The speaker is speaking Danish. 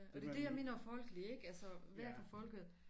Og det det jeg mener folkelig ikke altså være for folket